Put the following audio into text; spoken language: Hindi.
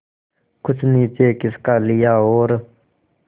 कुछ नीचे खिसका लिया और